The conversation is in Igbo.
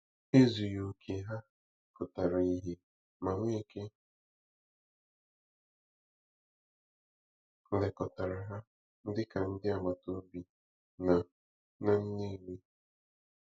Ezughị okè ha pụtara ìhè, ma Nweke lekọtara ha dị ka ndị agbata obi na na Nnewi.